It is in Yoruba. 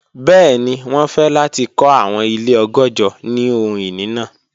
Bẹẹni, wọn fẹ lati kọ awọn ile ọgọ́jọ ni ohun-ini naa.